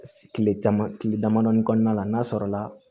Tile dama tile damadɔni kɔnɔna la n'a sɔrɔla